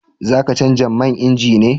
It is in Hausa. Za ka canja man inji ne?